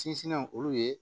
Sinsinnen olu ye